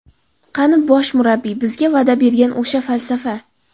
Qani bosh murabbiy bizga va’da bergan o‘sha falsafa?